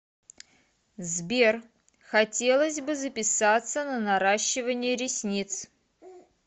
сбер хотелось бы записаться на наращивание ресниц